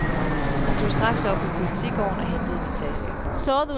Han tog straks op på politigården og hentede min taske.